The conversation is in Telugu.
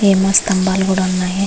ఏమో స్తంబాలు కూడా ఉన్నాయి.